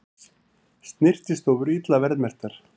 Snyrtistofur illa verðmerktar